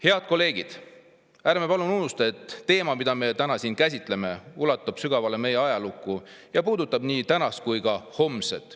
Head kolleegid, ärme palun unustame, et teema, mida me täna siin käsitleme, ulatub sügavale meie ajalukku ja puudutab nii tänast kui ka homset.